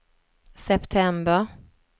september